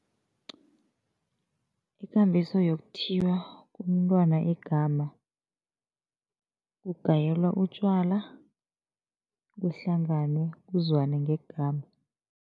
Ikambiso yokuthiywa komntwana igama, kugayelwa utjwala, kuhlanganwe, kuzwane ngegama.